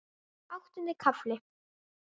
Áttundi kafli